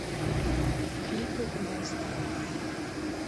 клипы баста